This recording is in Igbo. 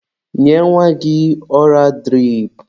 Nye nwa gị ọra dirip.